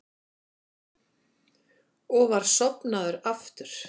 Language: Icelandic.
Og var sofnaður aftur.